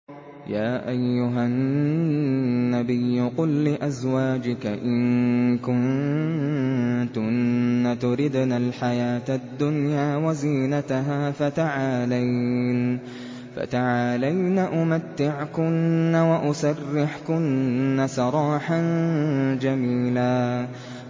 يَا أَيُّهَا النَّبِيُّ قُل لِّأَزْوَاجِكَ إِن كُنتُنَّ تُرِدْنَ الْحَيَاةَ الدُّنْيَا وَزِينَتَهَا فَتَعَالَيْنَ أُمَتِّعْكُنَّ وَأُسَرِّحْكُنَّ سَرَاحًا جَمِيلًا